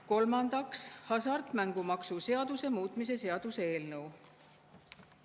Kolmandaks, hasartmängumaksu seaduse muutmise seaduse eelnõu.